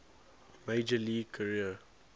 major league career